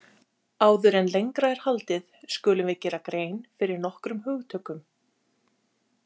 Áður en lengra er haldið skulum við gera grein fyrir nokkrum hugtökum.